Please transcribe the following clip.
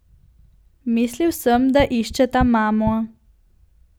Mislil sem, da iščeta mamo.